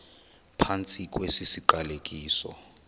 phantsi kwesi siqalekiso